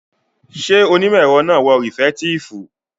Ṣé onímọ̀ ẹ̀rọ náà wọ rìfẹ̀ẹ́tíìfù?